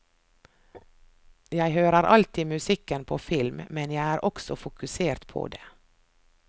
Jeg hører alltid musikken på film, men jeg er også fokusert på det.